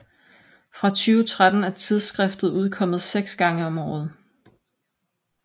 Fra 2013 er tidsskriftet udkommet seks gange om året